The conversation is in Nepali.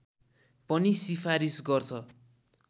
पनि सिफारिस गर्छ